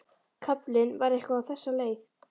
Kaflinn var eitthvað á þessa leið: